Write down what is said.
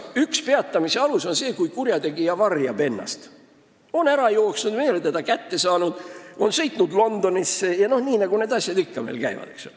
Üks peatamise alus on see, kui kurjategija varjab ennast: ta on ära jooksnud, me ei ole teda kätte saanud, ta on sõitnud Londonisse vms, nagu need asjad meil ikka käivad.